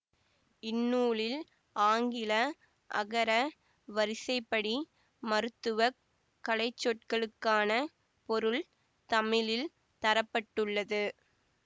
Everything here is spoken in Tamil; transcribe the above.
இந்நூலில் ஆங்கில அகர வரிசைப்படி மருத்துவ கலைச்சொற்களுக்கான பொருள் தமிழில் தர பட்டுள்ளது